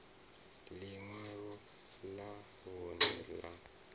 ḽi ṅwalo ḽa vhuṋe ḽa